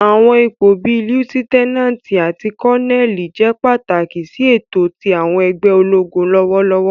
Àwọn ipo bii Liutenanti ati Koneli jẹ pataki si eto ti àwọn ẹgbẹ ologun lọwọlọwọ.